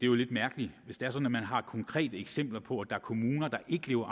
jo lidt mærkeligt hvis det er sådan at man har konkrete eksempler på at der er kommuner der ikke lever